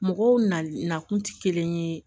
Mɔgɔw nakun tɛ kelen ye